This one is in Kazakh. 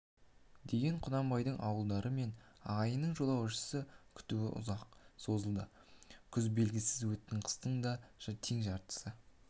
деген құнанбайдың ауылдары мен ағайынының жолаушыны күтуі ұзаққа созылды күз белгісіз өтті қыстың да тең жартысы